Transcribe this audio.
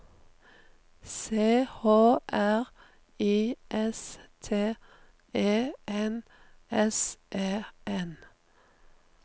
C H R I S T E N S E N